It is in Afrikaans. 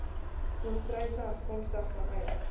volstruise afkomstig vanuit